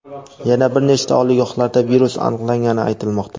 Yana bir nechta oliygohlarda virus aniqlangani aytilmoqda.